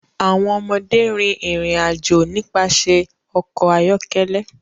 Awọn ọmọde rin irin-ajo nipasẹ ọkọ ayọkẹlẹ